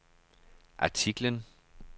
artiklen